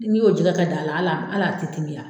N'i y'o jɛgɛ kɛ da la a la a la ti timiya .